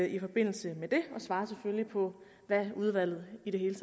i forbindelse med den og svarer selvfølgelig på hvad udvalget i det hele